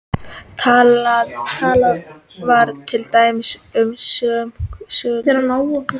Talað var til dæmis um mörk silfurs.